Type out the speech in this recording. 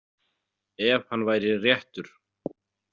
Ef hann væri réttur.